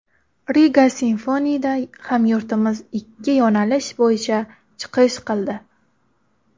Riga Symphony’da hamyurtimiz ikki yo‘nalish bo‘yicha chiqish qildi.